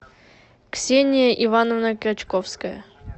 ксения ивановна крачковская